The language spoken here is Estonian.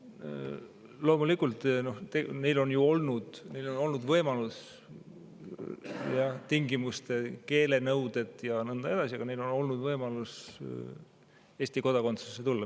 Loomulikult on neil olnud võimalus – jah, küll teatud tingimustel, keelenõuded ja nõnda edasi – Eesti kodakondsusesse tulla.